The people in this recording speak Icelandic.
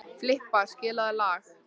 Filippa, spilaðu lag.